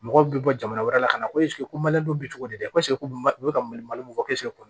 Mɔgɔw bɛ bɔ jamana wɛrɛ la ka na ko ko bɛ cogo di dɛ u bɛ ka malimu fɔ